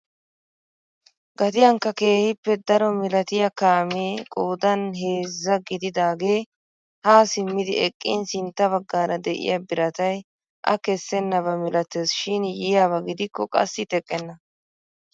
Gatiyankka keehippe daro milatiyaa kaamee qoodan heezzaa gididagee haa simmidi eqqin sintta baggaara de'iyaa biratay a kessenaba milates shin yiyaaba gidikko qassi teqenna!